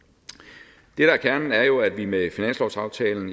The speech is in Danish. det der er kernen er jo at vi med finanslovsaftalen